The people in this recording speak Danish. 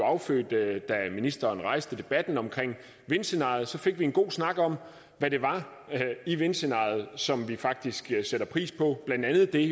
affødte at vi da ministeren rejste debatten om vindscenariet fik en god snak om hvad det var i vindscenariet som vi faktisk sætter pris på blandt andet det